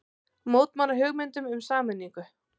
Mótmæla hugmyndum um sameiningu